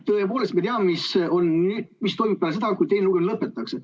Tõepoolest, me teame, mis toimub peale seda, kui teine lugemine lõpetatakse.